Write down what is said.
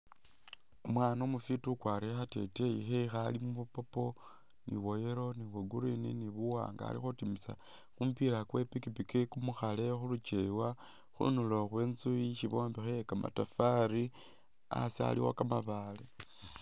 Umwana umufiti ukwarile khateteya khewe khalimwo bwa'purple ni bwa'yellow ni bwa'green alikhutimisa kumupila kwepikipiki kumukhale khuluchewa khundulo khwenzu isi bombekha iye kamatafali asi aliwo kamabaale